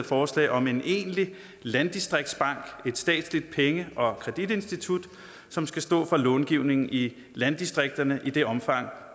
forslag om en egentlig landdistriktsbank et statsligt penge og kreditinstitut som skal stå for långivning i landdistrikterne i det omfang